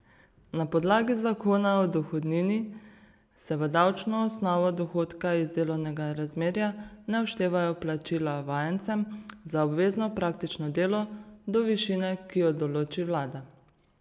Na podlagi zakona o dohodnini se v davčno osnovo dohodka iz delovnega razmerja ne vštevajo plačila vajencem za obvezno praktično delo do višine, ki jo določi vlada.